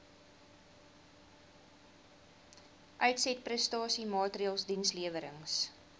uitsetprestasie maatreëls dienslewerings